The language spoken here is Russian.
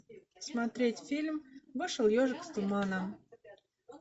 смотреть фильм вышел ежик из тумана